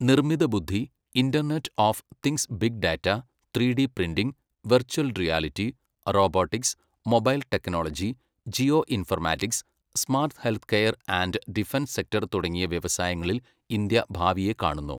നിർമ്മിതബുദ്ധി, internet of things big data, three D printing , virtual reality, robotics, mobile technology, geo informatics, smart health care and defence sector തുടങ്ങിയ വ്യവസായങ്ങളിൽ India ഭാവിയെ കാണുന്നു.